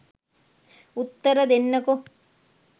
උත්තර දෙන්නකෝ?